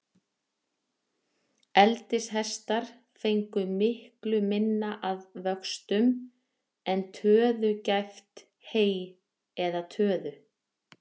Eldishestar fengu miklu minna að vöxtum, en töðugæft hey eða töðu.